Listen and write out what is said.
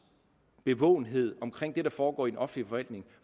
bevågenhed omkring det der foregår i den offentlige forvaltning